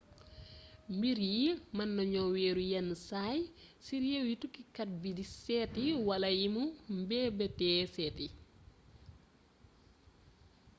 mbir yii meena gno wééru yénn say ci rééw yi tukki kat bi sééti wala yimu meebeetee sééti